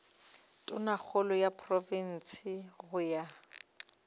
tonakgolo ya profense go ya